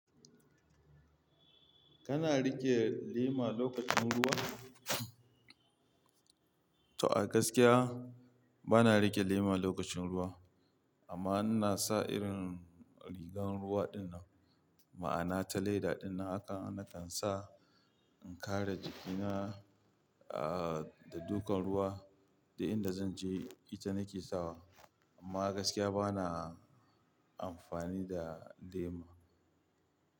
Kana riƙe lema lokacin ruwa? To a gaskiya bana riƙe lema lokacin ruwa amma ina sa irin rigan ruwa dinnan ma'ana ta leda dinnan haka na kan sa in kare jikina aa da ɗukan ruwa da inda zan je ita nake sawa amma gaskiya bana amfani da lema.